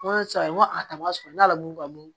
N ko sisan n ko a tama sɔrɔ n ka ala wolo kabon